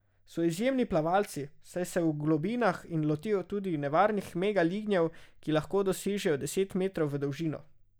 So izjemni plavalci, saj se v globinah lotijo tudi nevarnih mega lignjev, ki lahko dosežejo deset metrov v dolžino.